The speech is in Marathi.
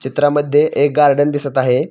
चित्रामध्ये एक गार्डन दिसत आहे.